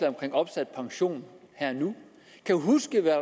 omkring opsat pension her og nu kan huske hvad